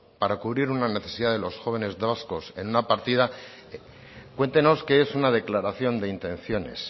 para cubrir una necesidad de los jóvenes vascos en una partida cuéntenos que es una declaración de intenciones